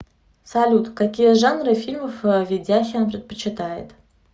салют какие жанры фильмов ведяхин предпочитает